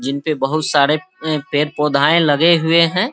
जिनपे बहुत सारे पे पेड़ पौधायें लगे हुए हैं।